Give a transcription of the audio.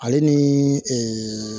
Ale ni ee